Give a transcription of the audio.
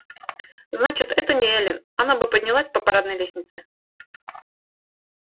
значит это не эллин она бы поднялась по парадной лестнице